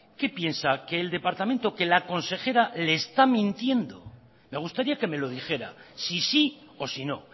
qué piensa que el departamento que la consejera le está mintiendo me gustaría que me lo dijera si sí o si no